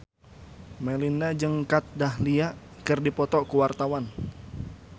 Melinda jeung Kat Dahlia keur dipoto ku wartawan